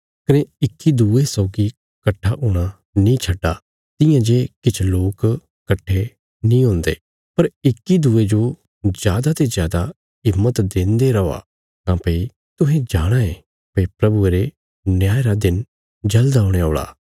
कने इक्की दूये सौगी कट्ठा हूणा नीं छड्डा तियां जे किछ लोक कट्ठे नीं हुन्दे पर इक्की दूये जो जादा ते जादा हिम्मत देन्दे रौआ काँह्भई तुहें जाणाँ ये भई प्रभुये रे न्याय रा दिन जल़द औणे औल़ा